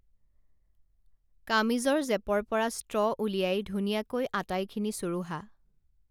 কামিজৰ জেপৰপৰা ষ্ট্ৰ উলিয়াই ধুনীয়াকৈ আটাইখিনি চুৰুহা